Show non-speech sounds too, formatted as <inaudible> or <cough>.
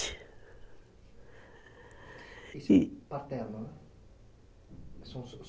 <unintelligible> paternos <unintelligible>